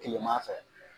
Kilema fɛ